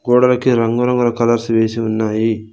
గోడలకి రంగు రంగుల కలర్స్ వేసి ఉన్నాయి.